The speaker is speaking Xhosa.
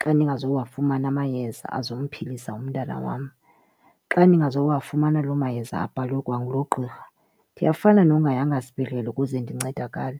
xa ndingazowafumana amayeza azomphilisa umntana wam. Xa ndingazowafumana loo mayeza abhalwe kwangulo gqirha ndiyafana nongayanga sibhedlele ukuze ndincedakale.